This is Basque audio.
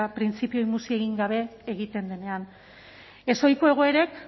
printzipioei muzin egin gabe egiten denean ezohiko egoerek